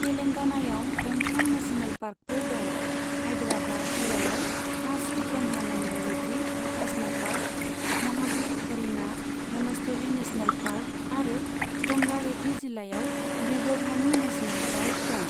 तेलेंगनायाव गंथाम नेशनेल पार्कफोर दं, हाइदराबाद जिल्लायाव Kasu Brahmananda Reddy national park, Mahavir Harina Vanasthali national park आरो रंगा रेड्डी जिल्लायाव मृगभानि नेसनेल पार्क दं।